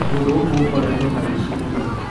Kũndũ gũkũ gũkoretwo na wũici muno.